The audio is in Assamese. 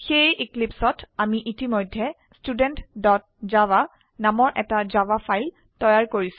সেয়ে এক্লীপ্সত আমি ইতিমধ্যে studentজাভা নামৰ এটা জাভা ফাইল তৈয়াৰ কৰিছো